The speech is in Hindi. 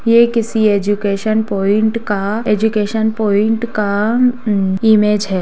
ये किसी एजुकेशन पॉइंट का एजुकेशन पॉइंट का ऊ इमेज है।